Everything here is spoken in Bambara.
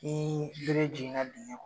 Ni bere jigin na dingɛ kɔnɔ